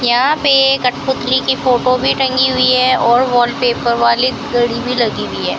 यहां पे कठपुतली की फोटो भी टंगी हुई है और वॉलपेपर वाली घड़ी भी लगी हुई है।